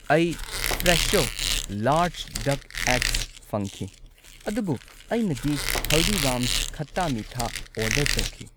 ꯑꯩ Fresho large duck eggs ꯐꯪꯈꯤ, ꯑꯗꯨꯕꯨ ꯑꯩꯅꯗꯤ ꯍꯜꯗꯤꯔꯥꯝꯁ ꯈꯠꯇꯥ ꯃꯤꯊꯥ ꯑꯣꯔꯗꯔ ꯇꯧꯈꯤ꯫